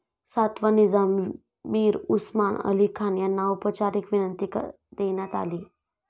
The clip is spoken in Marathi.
सातवा निजाम, मीर उस्मान अली खान यांना औपचारीक विनंती देण्यात आली.